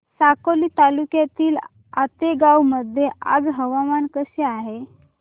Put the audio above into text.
साकोली तालुक्यातील आतेगाव मध्ये आज हवामान कसे आहे